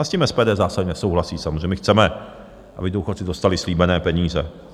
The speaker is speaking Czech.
A s tím SPD zásadně nesouhlasí samozřejmě, my chceme, aby důchodci dostali slíbené peníze.